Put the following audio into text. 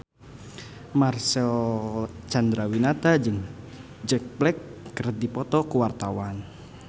Marcel Chandrawinata jeung Jack Black keur dipoto ku wartawan